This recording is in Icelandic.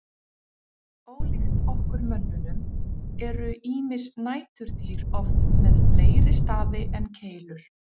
Ólíkt okkur mönnunum eru ýmis næturdýr oft með fleiri stafi en keilur.